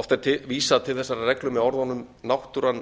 oft er vísað til þessarar reglu með orðunum náttúran